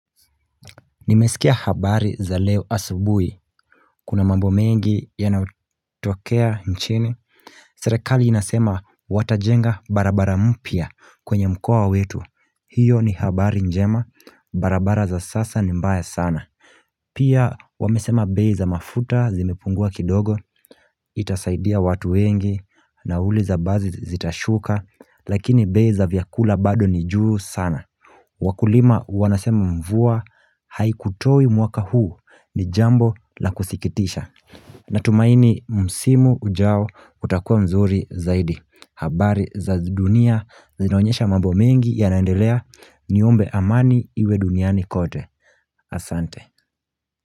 Nimesikia habari za leo asubuhi, kuna mambo mengi yanayotokea nchini Serikali inasema watajenga barabara mpya kwenye mkoa wetu, hiyo ni habari njema, barabara za sasa ni mbaya sana Pia wamesema bei mafuta zimepungua kidogo, itasaidia watu wengi, nauli za basi zitashuka, lakini bei za vyakula bado ni juu sana Wakulima wanasema mvua haikutoi mwaka huu ni jambo la kusikitisha Natumaini msimu ujao utakuwa mzuri zaidi habari za dunia zinaonyesha mambo mengi yanaendelea niombe amani iwe duniani kote Asante.